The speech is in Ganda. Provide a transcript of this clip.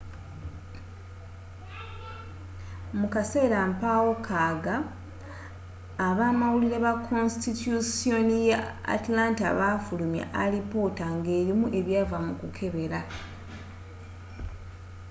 mu kaseera mpawekaaga abamawulire ba konstityushoni ya atlanta baafulumya alipoota ngerimu ebyava mu kukebera